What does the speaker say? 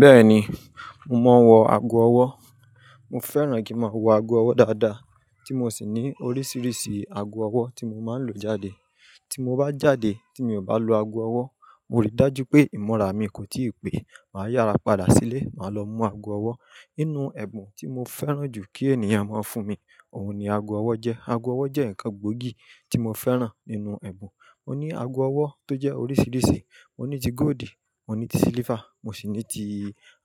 Bẹ́ẹ̀ ni, mo máa ń wọ ago ọwọ́. Mo fẹ́ràn kí n máa wọ ago ọwọ́ dáadáa tí mo sì ní oríṣiríṣi ago ọwọ́ tí mo máa ń lo jáde. Tí mo bá jáde tí mi ò bá lo ago ọwọ́, mo rí i dájú pé ìmọ̀ra mi kò tí ì pé. Màá yára padà sílé, màá lọ mú ago ọwọ́. Inú ẹ̀bùn tí mo fẹ́ràn jù kí ènìyàn máa ń fún mi, òun ni ago ọwọ́ jẹ́. Ago ọwọ́ jẹ́ nǹkan gbóògì tí mo fẹ́ràn nínú ẹ̀bùn. Mo ní ago ọwọ́ tó jẹ́ oríṣiríṣi. Mo ní ti góòlì, mo ní ti sílífà, mo sì ní ti